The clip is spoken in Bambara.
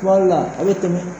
la a bi tɛmɛ